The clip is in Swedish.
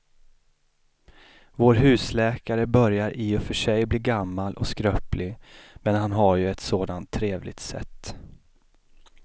Vår husläkare börjar i och för sig bli gammal och skröplig, men han har ju ett sådant trevligt sätt!